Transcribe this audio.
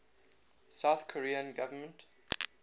south korean government